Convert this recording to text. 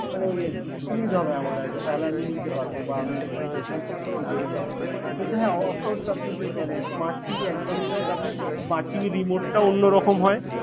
মানে ওই আর কি সুবিধা হবে আমার আর কি তাহলে আমি নিতে পারবো বা মানে এদিকে যাব। কিন্তু হ্যাঁ of course আপনি মানে smart TV একদমই নয় কারণ smart TV র remote টা অন্যরকম হয়।